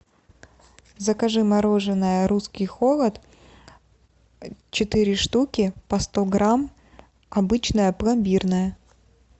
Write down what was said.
закажи мороженое русский холод четыре штуки по сто грамм обычное пломбирное